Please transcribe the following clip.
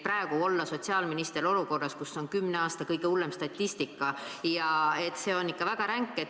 Praegu olla sotsiaalminister olukorras, kus on kümne aasta kõige hullem statistika ja et see on ikka väga ränk.